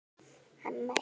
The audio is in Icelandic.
Amma Eygló.